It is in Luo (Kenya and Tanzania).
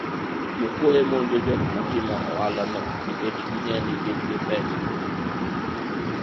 jokuoye monjo jok matimo ohala no nikech ging'eyo ni gin gi pesa